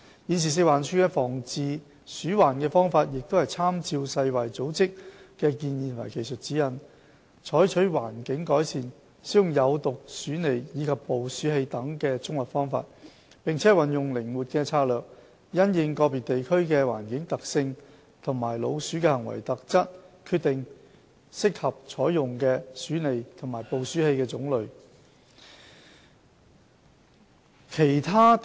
現時食環署的防治鼠患方法是參照世界衞生組織的建議及技術指引，採取環境改善、使用有毒鼠餌及捕鼠器等的綜合方法，並運用靈活的策略，因應個別地區的環境特性和老鼠的行為特質，決定適合採用的鼠餌和捕鼠器的種類。